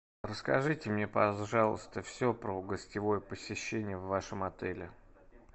расскажите мне пожалуйста все про гостевое посещение в вашем отеле